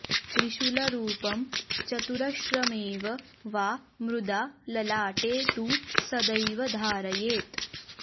त्रिशूलरूपं चतुरश्रमेव वा मृदा ललाटे तु सदैव धारयेत्